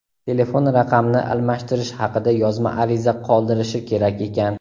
telefon raqamni almashtirish haqida yozma ariza qoldirishi kerak ekan.